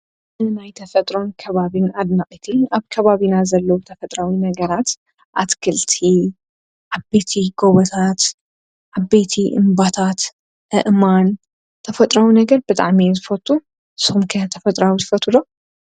ን ናይተ ፈጥሮን ከባብን ኣድናእቲ ኣብ ካባቢና ዘለዉ ተፈጥራዊ ነገራት ኣትክልቲ ኣቤቲ ጐበታት ኣቤቲ እምባታት ኣእማን ተፈጥራዊ ነገር በጥዓ ሜ ዝፈቱ ሶምከ ተፈጥራዊ ዝፈቱ?